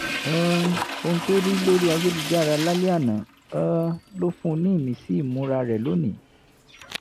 um ohun tó rí lórí ayélujára lálẹ́ àná um ló fún un ní ìmísí ìmúra rẹ̀ lónìí